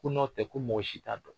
Ko n'o tɛ ko mɔgɔ si t'a dɔn